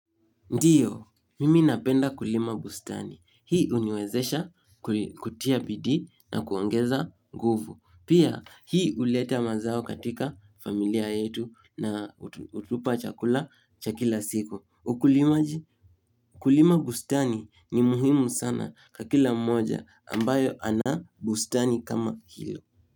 Ndiyo, mimi napenda kulima bustani. Hii uniwezesha kutia bidii na kuongeza nguvu. Pia hii huleta mazao katika familia yetu na hutupa chakula cha kila siku. Ukulimaji? Kulima bustani ni muhimu sana Kwa kila mmoja ambaye ana bustani kama hilo.